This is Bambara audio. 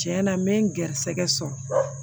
Tiɲɛna n bɛ n gɛrɛsɛgɛ sɔrɔ